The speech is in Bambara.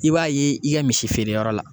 I b'a ye i ka misi feere yɔrɔ la